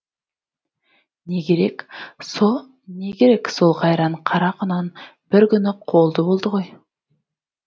не керек не керек сол қайран қара құнан бір күні қолды болды ғой